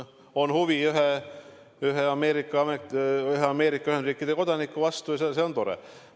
On huvi ühe Ameerika Ühendriikide kodaniku vastu, ja see on tore.